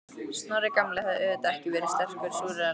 Snorri gamli hafði auðvitað ekki verið sterkur súrrealisti.